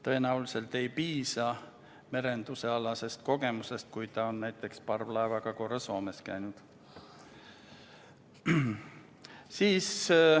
Tõenäoliselt ei piisa sellisest merendusalasest kogemusest, et ta on näiteks parvlaevaga korra Soomes käinud.